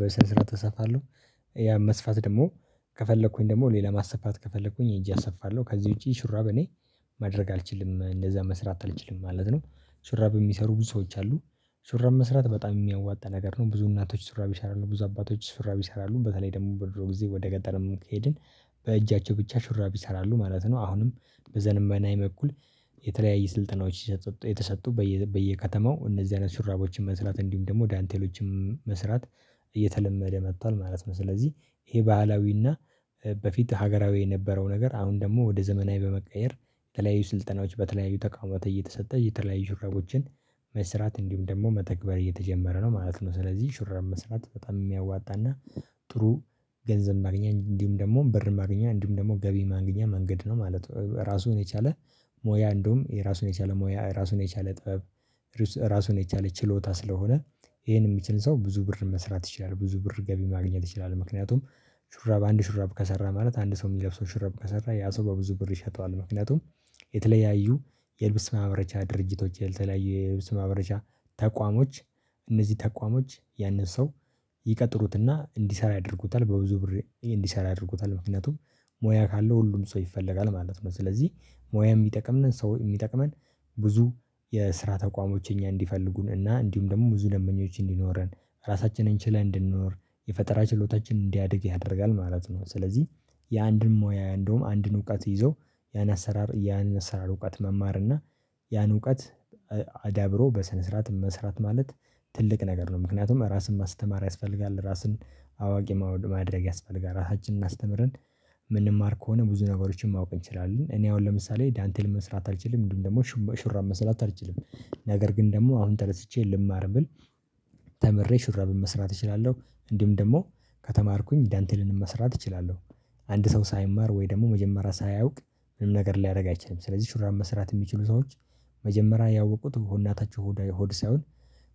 ብዙ ሽራብም መስራት ይችላሉ እንዲሁም ደግሞ ዳንቴሎችን መስራትም ይችላሉ ሞሰቦችን መስራት ይችላሉ ብዙ እናቶች በችላንቴ ውጪ እንደምንለው መስራት ይችላሉ ማለት ነው። ስለዚህ እኔ ደግሞ ማድረግ የምችለው አንድ ነገር እኔ ሹራቦችን አልሰራም ነገር ግን ሹራቦች ሲቀደዱብኝ እንደው እንደውም ደግሞ ሽራቦች በምለብስበት መንገድ ሲቀደዱብኝ ሹራብ መስራት በጣም የሚያዋጣ ነገር ነው። ብዙ እናቶች ሹራብ ይሰራሉ ብዙ አባቶች ሹራብ ይሰራሉ በተለይ ደግሞ በድሮ ጊዜ ወደ ገጠርም ከሄድን በእጃቸው ብቻ ሽራብ ይሰራሉ ማለት ነው። አሁንም በዘመናዊ መኩል የተለያየ ስልጠናዎች እየተሰጡ እየተሰጡ በየከተማው እነዚህ አይነት ሹራቦችን መስራት እንዲሁም ደግሞ ዳንቴሎችም መስራት እየተለመደ መጥቷል ማለት ነው። ስለዚህ ይሄ ባህላዊና በፊት ሀገራዊ የነበረው ነገር አሁን ደግሞ ወደ ዘመናዊ በመቀየር የተለያዩ ስልጠናዎች በተለያዩ ተቋማት እየተሰጠ እየተለያዩ ሹራቦችን መስራት እንዲሁም ደግሞ መተግበር እየተጀመረ ነው ማለት ነው። ስለዚህ ሹራብ መስራት በጣም የሚያዋጣና ጥሩ ገንዘብ ማግኛ እንዲሁም ደግሞ ብር ማግኛ እንዲሁም ደግሞ ገቢ ማግኛ መንገድ ነው ማለት ነው። ራሱን የቻለ ሞያ እንደውም የራሱን የቻለ ሞያ ራሱን የቻለ ጥበብ። ራሱን የቻለ ችሎታ ስለሆነ ይሄን የሚችል ሰው ብዙ ብር መስራት ይችላል ብዙ ብር ገቢ ማግኘት ይችላል። ምክንያቱም ሹራብ አንድ ሹራብ ከሰራ ማለት አንድ ሰው የሚለብሰው ሽርብ ከሰራ ያ ሰው በብዙ ብር ይሸጠዋል። ምክንያቱም የተለያዩ የልብስ ማምረቻ ድርጅቶች ያልተለያዩ የልብስ ማምበረቻ ተቋሞች እነዚህ ተቋሞች ያንን ሰው ይቀጥሩትና እንዲሰራ ያደርጉታል በብዙ ብር እንዲሰራ ያደርጉታል ምክንያቱም ሙያ ካለው ሁሉም ሰው ይፈለጋል ማለት ነው። ስለዚህ ሙያ የሚጠቅመን ሰው የሚጠቅመን ብዙ የስራ ተቋሞች እኛ እንዲፈልጉን እና እንዲሁም ደግሞ ብዙ ደንበኞች እንዲኖረን ራሳችንን ችለን እንድንኖር የፈጠራ ችሎታችን እንዲያድግ ያደርጋል ማለት ነው። ስለዚህ የአንድን ሙያ እንደውም አንድን እውቀት ይዞ ያን አሰራር ያን አሰራር እውቀት መማር እና ያን እውቀት አዳብሮ በስነ ስርዓት መስራት ማለት ትልቅ ነገር ነው። ምክንያቱም ራስን ማስተማር ያስፈልጋል ራስን አዋቂ ማድረግ ያስፈልጋል ራሳችንን አስተምረን የምንማር ከሆነ ብዙ ነገሮችን ማወቅ እንችላለን። እኔ አሁን ለምሳሌ ዳንቴል መስራት አልችልም ምንድነው ደግሞ ሹራብ መስራት አልችልም። ነገር ግን ደግሞ አሁን ተነስቼ ልማር ብል ተምሬ ሹራብ መስራት እችላለሁ። እንዲሁም ደግሞ ከተማርኩኝ ዳንቴልንም መስራት እችላለሁ። አንድ ሰው ሳይማር ወይ ደግሞ መጀመሪያ ሳያውቅ ምንም ነገር ሊያደርግ አይችልም። ስለዚህ ሹራብ መስራት የሚችሉ ሰዎች መጀመሪያ ያወቁት ከናታችሁ ሆድ ሆድ ሳይሆን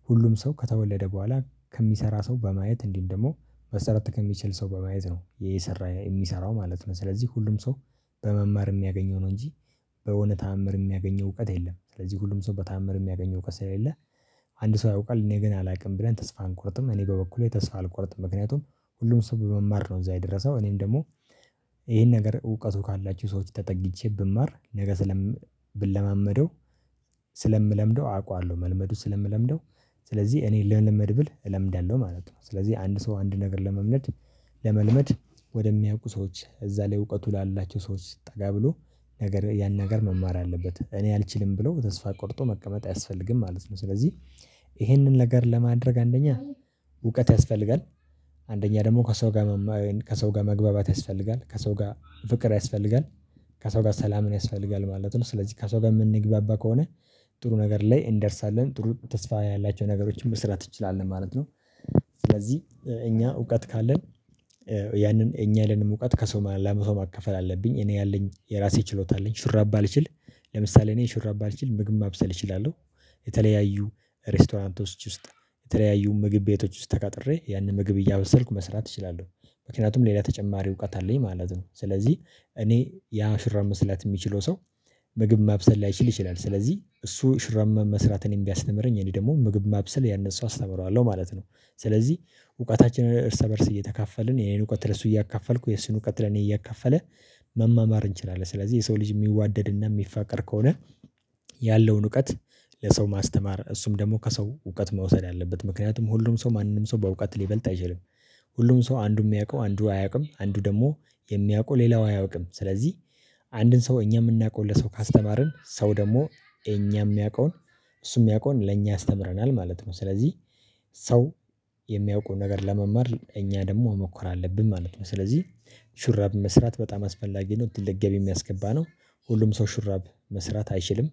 ሁሉም ሰው ከተወለደ በኋላ ከሚሰራ ሰው በማየት እንዲሁም ደግሞ መሰረት ከሚችል ሰው በማየት ነው የሰራ የሚሰራው ማለት ነው። ስለዚህ ሁሉም ሰው በመማር የሚያገኘው ነው። እንጂ በሆነ ተአምር የሚያገኘው እውቀት የለም። ስለዚህ ሁሉም ሰው በተአምር የሚያገኘው እውቀት ስለሌለ አንድ ሰው አያውቃል እኔ ግን አላውቅም ብለን ተስፋ አንቆርጥም። እኔ በበኩሌ ተስፋ አልቆርጥም። ምክንያቱም ሁሉም ሰው በመማር ነው እንዛ የደረሰው እኔም ደግሞ ይሄን ነገር እውቀቱ ካላችሁ ሰዎች ተጠግቼ ብማር ነገ ስለም ብለማመደው ስለምለምደው አውቃዋለሁ። መልመዱ ስለምለምደው ስለዚህ እኔ ልልመድ ብል እለምዳለሁ ማለት ነው። ስለዚህ አንድ ሰው አንድ ነገር ለመልመድ ለመልመድ ወደሚያውቁ ሰዎች እዛ ላይ እውቀቱ ላላቸው ሰዎች ጠጋ ብሎ ነገር ያን ነገር መማር አለበት። እኔ አልችልም ብለው ተስፋ ቆርጦ መቀመጥ አያስፈልግም ማለት ነው። ስለዚህ ይሄንን ነገር ለማድረግ አንደኛ እውቀት ያስፈልጋል። አንደኛ ደግሞ ከሰው ጋር መማር ከሰው ጋር መግባባት ያስፈልጋል ከሰው ጋር ፍቅር ያስፈልጋል ከሰው ጋር ሰላምን ያስፈልጋል ማለት ነው። ስለዚህ ከሰው ጋር የምንግባባ ከሆነ ጥሩ ነገር ላይ እንደርሳለን ጥሩ ተስፋ ያላቸው ነገሮችን መስራት እንችላለን ማለት ነው። ስለዚህ እኛ እውቀት ካለን ያንን እኛ ያለንን እውቀት ከሰው ለብዙሰው ማከፈል አለብኝ እኔ ያለኝ የራሴ ችሎታ አለኝ። ሽራብ ባልችል ለምሳሌ እኔ ሽራብ ባልችል ምግብ ማብሰል እችላለሁ። የተለያዩ ሬስቶራንቶች ውስጥ የተለያዩ ምግብ ቤቶች ውስጥ ተቀጥሬ ያንን ምግብ እያበሰርኩ መስራት እችላለሁ። ምክንያቱም ሌላ ተጨማሪ እውቀት አለኝ ማለት ነው። ስለዚህ እኔ ያ ሽራብ መስራት የሚችለው ሰው። ምግብ ማብሰል ላይችል ይችላል ስለዚህ እሱ ሹራብ መስራት እኔን ቢያስተምረኝ እኔ ደግሞ ምግብ ማብሰል ለሱ አስተምረዋለሁ ማለት ነው። ስለዚህ እውቀታችንን እርስ በእርስ እየተካፈልን የኔን እውቀት ለእሱ እያካፈልኩ የሱን እውቀት ለኔ እያከፈለ መማማር እንችላለን። ስለዚህ የሰው ልጅ የሚዋደድ እና የሚፋቀር ከሆነ ያለውን እውቀት ለሰው ማስተማር እሱም ደግሞ ከሰው እውቀት መውሰድ አለበት። ምክንያቱም ሁሉም ሰው ማንንም ሰው በእውቀት ሊበልጥ አይችልም። ሁሉም ሰው አንዱ የሚያውቀው አንዱ አያውቅም አንዱ ደግሞ የሚያውቀው ሌላው አያውቅም። ስለዚህ አንድን ሰው እኛ የምናውቀው ለሰው ካስተማርን ሰው ደግሞ እኛም የሚያውቀውን እሱ የሚያውቀውን ለእኛ ያስተምረናል ማለት ነው። ስለዚህ ሰው የሚያውቁን ነገር ለመማር እኛ ደግሞ መሞከር አለብን ማለት ነው። ስለዚህ ሹራብ መስራት በጣም አስፈላጊ ነው። ትልቅ ገቢ የሚያስገባ ነው ሁሉም ሰው ሹራብ መስራት አይችልም